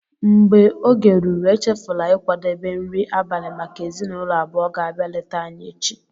mgbe oge ruru, échéfula ịkwadebe nri abalị maka ezinụlọ abụọ ga-abia léta anyị echi